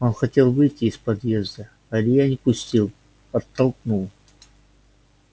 он хотел выйти из подъезда а илья не пустил оттолкнул